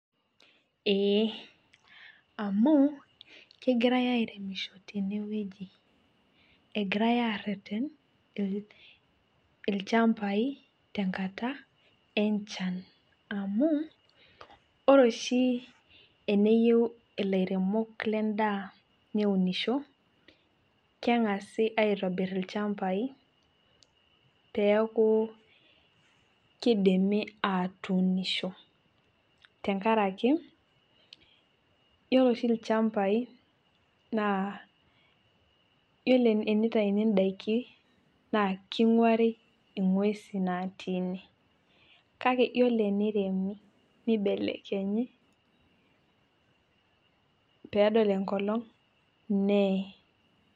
Ee, amu, kegirai airemisho tenewueji. Egirai arrerren ilchambai tenkata enchan. Amu, ore oshi eneyieu ilairemok lendaa neunisho, keng'asi aitobir ilchambai, peeku kidimi atuunisho. Tenkaraki, yiolo oshi ilchambai, naa yiolo enitayuni daikin, naa king'uari ing'uesin natii ine. Kake, yiolo eniremi, nibelekenyi, pedol enkolong, nee.